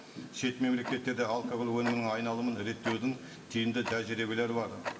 шет мемлекеттерде алкоголь өнімін айналымын реттеудің тиімді тәжірибелері бар